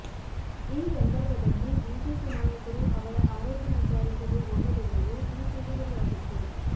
ಈ ಸಂದರ್ಭದಲ್ಲಿ ಬಿಜೆಪಿ ನಾಯಕರು ಅವರ ಆರೋಗ್ಯ ವಿಚಾರಿಸಲು ಹೋಗದಿರುವುದು ಟೀಕೆಗೆ ಗುರಿಯಾಗಿತ್ತು